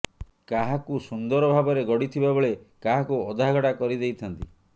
କାହାକୁ ସୁନ୍ଦର ଭାବରେ ଗଢିଥିବା ବେଳେ କାହାକୁ ଅଧାଗଢା କରିଦେଇ ଥାନ୍ତି